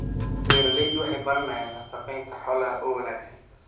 Beeraleydu waxay baranayaan nafaqeynta xoolaha oo wanaagsan.